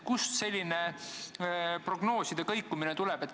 Millest selline prognooside kõikumine tuleb?